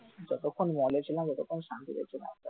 যতক্ষণ mall ছিলাম ততক্ষণ শান্তিতে ছিলাম,